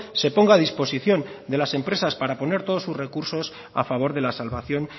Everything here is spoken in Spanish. se ponga a disposición de las empresas para poner todos sus recursos a favor de la salvación